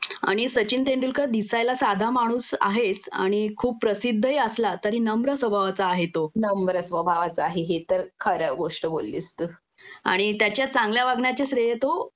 आणि सचिन तेंडुलकर दिसायला साधा माणूस आहेच आणि खूप प्रसिद्धही असला तरी नम्र स्वभावाचा आहे तो आणि त्याच्या चांगल्या वागण्याचे श्रेय तो